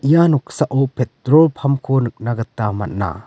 ia noksao petrol pump-ko nikna gita man·a.